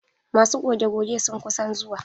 Masu goge goge sun kusan zuwa.